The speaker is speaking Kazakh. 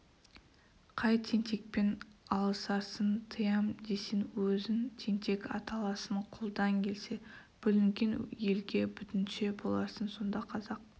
қай тентекпен алысарсың тыям десең өзің тентек аталасың қолдан келсе бүлінген елге бүтінші боларсың сонда қазақ